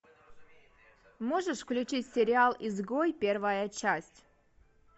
можешь включить сериал изгой первая часть